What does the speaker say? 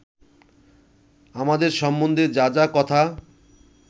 আমাদের সম্বন্ধে যা যা কথা